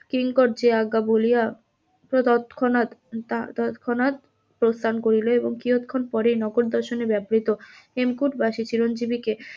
কিঙ্কর যে আজ্ঞা বলিয়া তৎক্ষণাৎ তৎক্ষণাৎ প্রস্থান করিল এবং কিয়তক্ষণ পরেই নগর দর্শনে ব্যবহৃত হেমকূট বাসী চিরঞ্জীবিকে